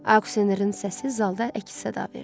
Aksenerin səsi zalda əks-səda verdi.